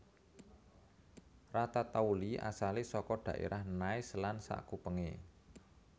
Ratatouille asalé saka dhaérah Nice lan sakupengé